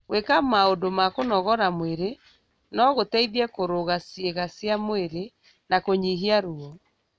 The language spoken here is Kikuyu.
Gwĩka maũndũ ma kũnogora mwĩrĩ no gũteithie kũrũga ciĩga cia mwĩrĩ na kũnyihia ruo.